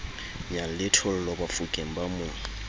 nyalle thollo bafokeng ba mo